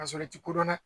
Ka sɔrɔ i ti kodɔn dɛ